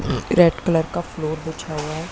अ red colour का floor बिछा हुआ है।